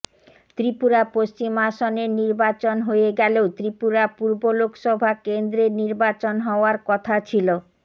ত্রিপুরা পশ্চিম আসনের নির্বাচন হয়ে গেলেও ত্রিপুরা পূর্ব লোকসভা কেন্দ্রের নির্বাচন হওয়ার কথা ছিল